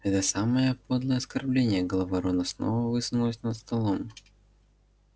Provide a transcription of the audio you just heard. это самое подлое оскорбление голова рона снова высунулась над столом